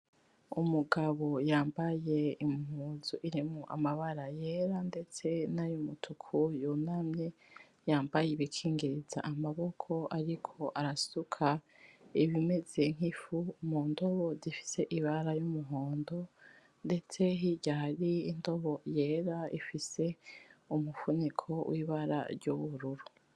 Umugabo yambaye Impuzu irimwo amabara yera, ndetse nayumutuku, yunamye yambaye ibikingiriza amaboko ariko arasuka ibimeze nk'ifu mundobo zifise Ibara y'umuhondo ndetse hirya hari indobo yera ifise umufuniko wibara ry'ubururu.